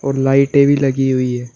लाइटे भीं लगी हुई है।